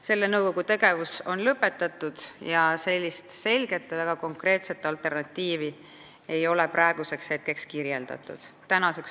Selle nõukogu tegevus on lõpetatud, aga selget ja väga konkreetset alternatiivi ei ole praeguseks välja käidud.